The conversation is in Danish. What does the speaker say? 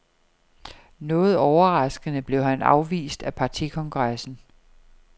Noget overraskende blev han afvist af partikongressen.